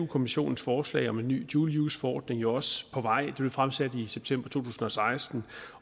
kommissionens forslag om en ny dual use forordning jo også på vej den blev fremsat i september to tusind og seksten